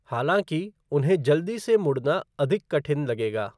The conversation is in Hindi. हालाँकि, उन्हें जल्दी से मुड़ना अधिक कठिन लगेगा।